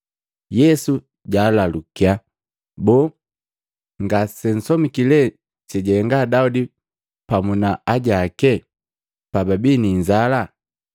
Yesu jaalalukya, “Boo, ngasensomiki lee sejahenga Daudi pamu na ajake pababii ni inzala?